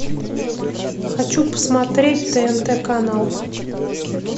хочу посмотреть тнт канал